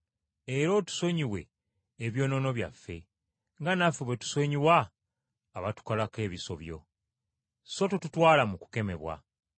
Era otusonyiwe ebyonoono byaffe, nga naffe bwe tusonyiwa abatukolako ebisobyo. So totutwala mu kukemebwa.’ ”